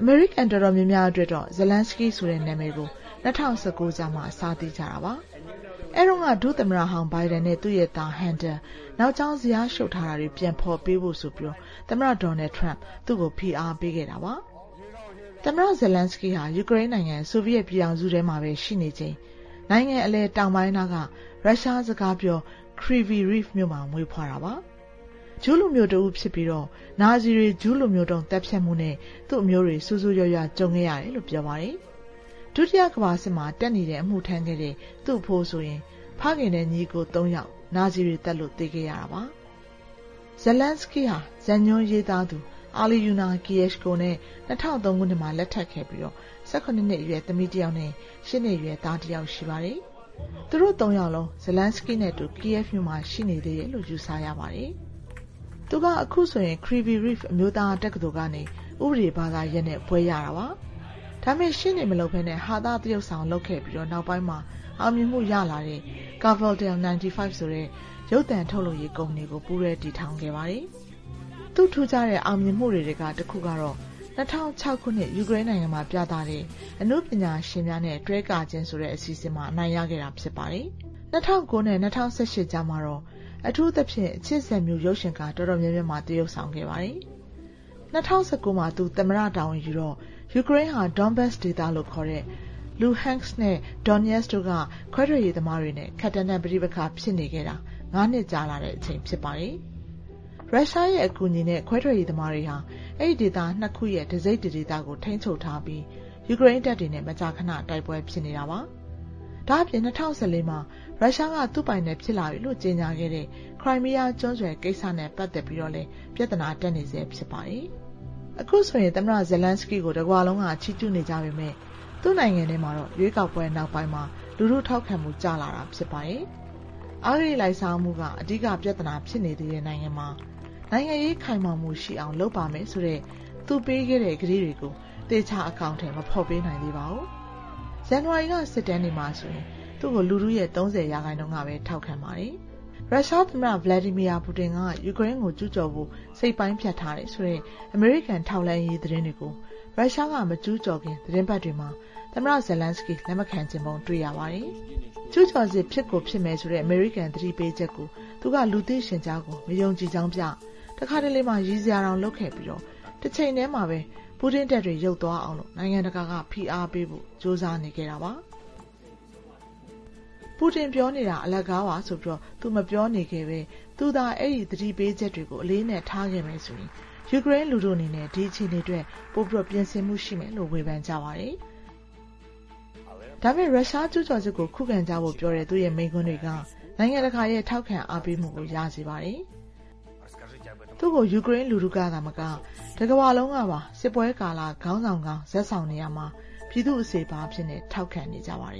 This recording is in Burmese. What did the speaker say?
အမေရိကန်တော်တော်များများ အတွက်တော့ ဇလန်းစကီးဆိုတဲ့ နာမည်ကို ၂၀၁၉ ကျမှ စသိကြတာပါ။ အဲ့တုန်းက ဒုသမ္မတဟောင်း ဘိုင်ဒန်နဲ့ သူ့သား ဟန်တာ နောက်ကြောင်း ဇယားရှုပ်ထားတာတွေ ပြန်ဖော်ပေးဖို့ သမ္မတ ဒေါ်နယ်ထရန်း သူ့ကို ဖိအားပေးခဲ့တာပါ။ ငယ်စဉ်ဘဝ သမ္မတ ဇလန်းစကီးဟာ ယူကရိန်းနိုင်ငံ ဆိုဗီယက်ပြည်ထောင်စုထဲမှာပဲ ရှိနေချိန် နိုင်ငံအလယ် တောင်ပိုင်းနားက ရုရှားစကားပြော ကာဗီရိဗ်မြို့မှာ မွေးဖွားတာပါ။ ဂျူးလူမျိူးတဦးဖြစ်ပြီး နာဇီတွေရဲ့ ဂျူးလူမျိုးတုံး သတ်ဖြတ်မှုနဲ့ သူ့အမျိုးတွေ ဆိုးဆိုးရွားရွား ကြုံခဲ့ရတယ်လို့ ပြောပါတယ်။ သူ့ရဲ့အဖိုးဆိုရင် ဖခင်နဲ့ ညီအစ်ကို ၃ ယောက် နာဇီတွေသတ်လို့ သေခဲ့ရပြီး ဒုတိယကမ္ဘာစစ်မှာ တပ်နီမှာ အမှုထမ်းခဲ့ပါတယ်။ ဇလန်းစကီးဟာ ဇာတ်ညွှန်းဆရာမ အိုလီနာကီယက်ရှ်ကိုနဲ့ ၂၀၀၃ ခုနှစ်မှာ လက်ထပ်ခဲ့ပြီး ၁၇ နှစ်အရွယ် သမီးတယောက်နဲ့ ၈ နှစ်အရွယ် သားတယောက် ရှိပါတယ်။ သူတို့ ၃ ယောက်လုံး ဇလန်းစကီးနဲ့အတူ ကီးယက်ဗ်မြို့မှာ ရှိနေသေးတယ်လို့ ယူဆရပါတယ်။ သူက အခု ကာဗီရိဗ် အမျိုးသားတက္ကသိုလ်ကနေ ဥပဒေဘာသာရပ်နဲ့ ဘွဲ့ရတာပါ။ ဒါပေမဲ့ ရှေ့နေမလုပ်ပဲ ဟာသသရုပ်ဆောင်လုပ်ခဲ့ပြီး နောက်ပိုင်းမှာ အောင်မြင်မှုရလာတဲ့ ကာဗာတယ်လ် ၉၅ ဆိုတဲ့ ရုပ်သံထုတ်လုပ်ရေးကုမ္ပဏီကို ပူးတွဲတည်ထောင်ခဲ့ပါတယ်။ သူ့ထူးခြားတဲ့ အောင်မြင်မှုတခုကတော့ ၂၀၀၆ ခုနှစ်မှာ ယူကရိန်းနိုင်ငံက အနုပညာရှင်များနှင့် တွဲကခြင်းဆိုတဲ့ အစီအစဉ်မှာ အနိုင်ရခဲ့တာ ဖြစ်ပါတယ်။ ၂၀၀၉ နဲ့ ၂၀၁၈ ကြားမှာတော့ အထူးသဖြင့် အချစ်ဇာတ်မြူး ရုပ်ရှင်ကားတော်တော်များများမှာ သရုပ်ဆောင်ခဲ့ပါတယ်။ ၂၀၁၉ မှာ သူသမ္မတတာဝန်ယူတော့ ယူကရိန်းဟာ ဒေါ့န်ဘတ်စ်ဒေသလို့ ခေါ်တဲ့ လူဟန့်စ်ခ်နဲ့ ဒွန်တပ်စ်ခ်ပြည်နယ်က ခွဲထွက်ရေးသမားတွေနဲ့ ခပ်တန်းတန်း ပဋိပက္ခဖြစ်နေခဲ့တာ ၅ နှစ်ကြာလာတဲ့ အချိန်ဖြစ်ပါတယ်။ ရုရှားရဲ့ အကူအညီနဲ့ ခွဲထွက်ရေးသမားတွေဟာ အဲဒီဒေသ ၂ ခုရဲ့ တစိတ်တဒေသကို ထိန်းချုပ်ထားပြီး ယူကရိန်းတပ်တွေနဲ့ မကြာခဏ တိုက်ပွဲဖြစ်နေတာပါ။ ဒါ့အပြင် ၂၀၁၄ မှာ ရုရှားက သူ့ပိုင်နက်ဖြစ်လာပြီလို့ ကြေညာခဲ့တဲ့ ခရိုင်မီးယားကျွန်းဆွယ်ကိစ္စနဲ့ ပတ်သက်ပြီးလည်း ပြဿနာတက်နေဆဲ ဖြစ်ပါတယ်။ လူထုထောက်ခံမှု ကျဆင်း အခုဆို သမ္မတဇလန်းစကီးကို တကမ္ဘာလုံးက ချီးကျူးနေကြပေမဲ့ သူ့နိုင်ငံထဲမှာတော့ ရွေးကောက်ပွဲနောက်ပိုင်းမှာ လူထုထောက်ခံမှု ကျလာတာ ဖြစ်ပါတယ်။ အဂတိလိုက်စားမှုက အဓိကပြဿနာ ဖြစ်နေသေးတဲ့ နိုင်ငံမှာ နိုင်ငံရေးခိုင်မာမှုရှိအောင် လုပ်ပါမယ်ဆိုတဲ့ သူပေးခဲ့တဲ့ကတိကို သေချာ အကောင်အထည် မဖော်ပေးနိုင်သေးပါဘူး။ ဇန်နဝါရီက စစ်တမ်းတွေမှာဆိုရင် သူ့ကို လူထုရဲ့ ၃၀ ရာခိုင်နှုန်းကပဲ ထောက်ခံပါတယ်။ ကျူးကျော်စစ်သတိပေးမှုကို ဂရုမစိုက်ခဲ့ ရုရှားသမ္မတ ဗလယ်ဒီမီယာပူတင်က ယူကရိန်းကို ကျူးကျော်ဖို့ စိတ်ပိုင်းဖြတ်ထားတယ်ဆိုတဲ့ အမေရိကန်ထောက်လှမ်းရေး သတင်းတွေကို ရုရှားက မကျူးကျော်ခင် သီတင်းပတ်တွေမှာ သမ္မတ ဇလန်းစကီး လက်ခံချင်ပုံမရခဲ့တာကို တွေ့ရပါတယ်။ ကျူးကျော်စစ် ဖြစ်ကိုဖြစ်မယ်ဆိုတဲ့ အမေရိကန် သတိပေးချက်ကို သူက လူသိရှင်ကြားကို မယုံကြည်ကြောင်းပြ တခါတလေ ရယ်စရာတောင်လုပ်ခဲ့ပြီး တချိန်တည်းများပဲ ပူတင့်တပ်တွေ ရုတ်သွားအောင် နိုင်ငံတကာက ဖိအားပေးဖို့ ကြိုးစားနေခဲ့တာပါ။ ပူတင်ပြောနေတာ အလကားပါဆိုပြီး သူမပြောခဲ့ပဲ သူသာ အဲဒီသတိပေးချက်တွေကို အလေးအနက် ထားခဲ့မယ်ဆိုရင် ယူကရိန်းလူထုအနေနဲ့ ဒီအခြေအနေအတွက် ပိုပြင်ဆင်မှုရှိမယ်လို့ ဝေဖန်ကြပါတယ်။ ဒါပေမဲ့ ရုရှားကျူးကျော်စစ်ကို ခုခံကြဖို့ ပြောတဲ့ သူ့မိန့်ခွန်းတွေက နိုင်ငံတကာရဲ့ ထောက်ခံအားပေးမှုကို ရစေပါတယ်။ သူ့ကို ယူကရိန်းလူထုကပါမက တကမ္ဘာလုံးကပါ စစ်ပွဲကာလ ခေါင်းဆောင်ကောင်း ဇာတ်ဆောင်နေရာမှာ ပြည်သူ့အစေအပါးအဖြစ် ထောက်ခံနေကြပါတယ်